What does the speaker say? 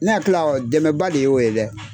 Ne hakili la dɛmɛba de y'o ye dɛ